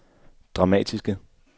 dramatiske